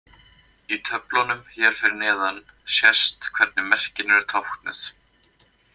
Í töflunum hér fyrir neðan sést hvernig merkin eru táknuð.